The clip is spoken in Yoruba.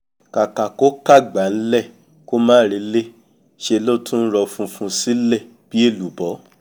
kàkà kó ká'gbá ń'lẹ̀ kó máa re'lé ńṣẹ ló tún rọ funfun sílẹ̀ bí èlùbọ́